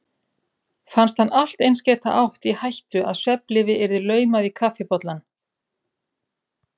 Fannst hann allt eins geta átt í hættu að svefnlyfi yrði laumað í kaffibollann.